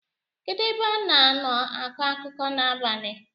kedu ebe a na-nọ akọ akụkọ n’abalị?